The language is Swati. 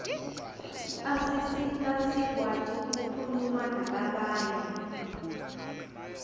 asisita sikwati kukhuluma nalabanye